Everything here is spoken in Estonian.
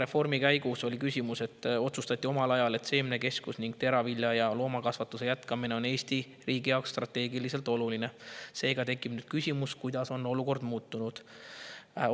Esimeses punktis on küsimus: "Maareformi käigus otsustati omal ajal, et seemnekeskus ning teravilja‑ ja loomakasvatuse jätkamine on Eesti riigi jaoks strateegiliselt oluline, seega tekib nüüd küsimus, kuidas on olukord muutunud?